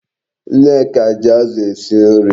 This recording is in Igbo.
Nneka ji Azu esi nri